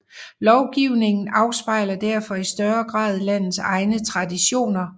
Lovgivningen afspejler derfor i større grad landets egne traditioner